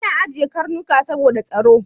Ana ajiye Karnuka saboda tsaro.